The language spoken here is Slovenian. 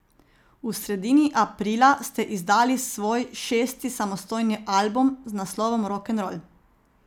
V sredini aprila ste izdali svoj šesti samostojni album z naslovom Rokenrol.